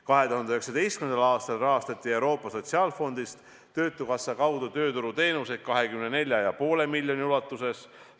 2019. aastal rahastati Euroopa Sotsiaalfondist töötukassa kaudu tööturuteenuseid 24,5 miljoni ulatuses.